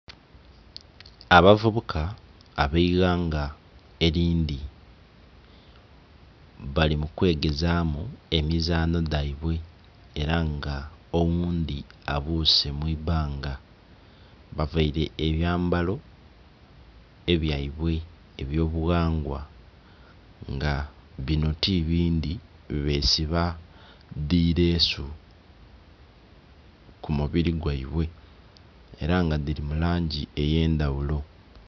Abavubuka ab'eighanga elindhi bali mu kwegezaamu emizaanho dhaibwe ela nga oghundhi abuuse mu ibanga. Bavaile ebyambalo ebyaibwe eby'obughangwa nga binho ti bindhi, besiba dhi leesu ku mubili gwaibwe ela nga dhili mu langi edh'endhaghulo.